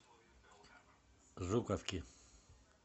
жуковки